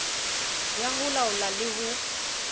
ya ho laola le ho